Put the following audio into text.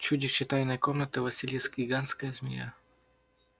чудище тайной комнаты василиск гигантская змея